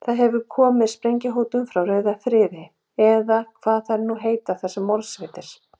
Það hefur komið sprengjuhótun frá rauðum friði, eða hvað þær nú heita þessar morðsveitir.